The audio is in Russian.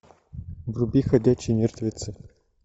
вруби ходячие мертвецы